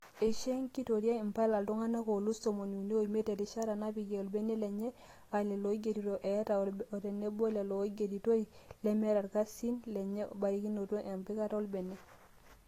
Ishoo enkitoria impala iltunganak oolus tomon unii omiat erishata napikia olbene lenye aa lelo oigirito atee otenebo lelo oigeritoi lemetaa irkasisi lenye barikinoto empikata olbene.